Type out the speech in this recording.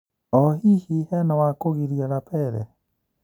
O-hihi henawakũgiria Lapele?